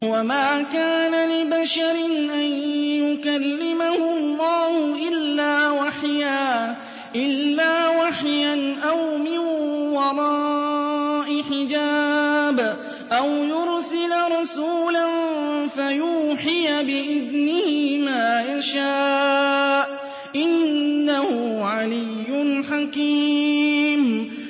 ۞ وَمَا كَانَ لِبَشَرٍ أَن يُكَلِّمَهُ اللَّهُ إِلَّا وَحْيًا أَوْ مِن وَرَاءِ حِجَابٍ أَوْ يُرْسِلَ رَسُولًا فَيُوحِيَ بِإِذْنِهِ مَا يَشَاءُ ۚ إِنَّهُ عَلِيٌّ حَكِيمٌ